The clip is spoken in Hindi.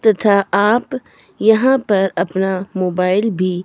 तथा आप यहां पर अपना मोबाइल भी--